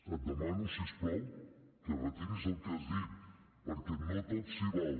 et demano si us plau que retiris el que has dit perquè no tot s’hi val